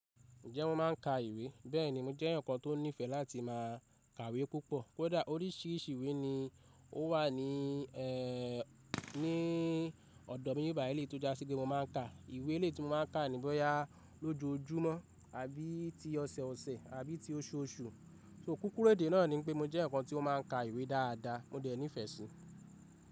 Ǹjẹ́ mo máa ń ka ìwé? Bẹ́ẹ̀ni, mo jẹ́ ǹkan tó nífẹ̀ẹ́ láti má a kàwé púpọ̀. Kódà oríṣìíríṣìí ìwé ni ó wà ní, ẹ́, ní ọ̀dọ̀ mi. Ìbàilé tó jásíkí mo má a ń ka ìwé. Ìwé tí mo má a ń ka ni bóyá lójoojúmọ́ àbí ti ọ̀sẹ̀ẹ̀ ọ̀sẹ̀ àbí ti oṣù ọ oṣù. Ṣó kúkúrú èdè náà ni pé mo jẹ́ ǹkan tí ó má a ń ka ìwé dáadáa, mo dẹ̀ nífẹ̀ẹ́ sí i.